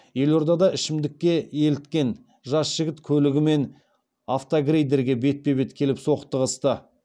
елордада ішімдікке еліткен жас жігіт көлігімен атогрейдерге бетпе бет келіп соқтығысты